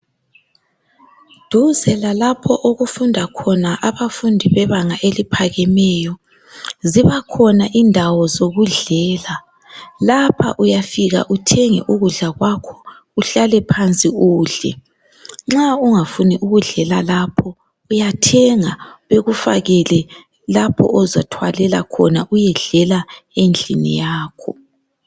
Duze lalapho okufunda khona abafundi bebanga eliphakemeyo ,kulezindawo lapho okudliwa khona ,lapha uyafika uthenge ihlale nxa ungafuni kudlela lapho uyathenga uyedlela endlini yakho.